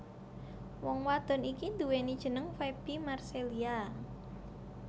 Wong wadon iki nduweni jeneng Faby Marcelia